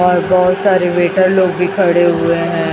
और बहोत सारे वेटर लोग भी खड़े हुए हैं।